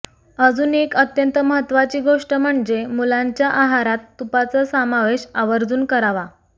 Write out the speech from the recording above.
अजून एक अत्यंत महत्त्वाची गोष्ट म्हणजे मुलांच्या आहारात तुपाचा समावेश आवर्जून करावा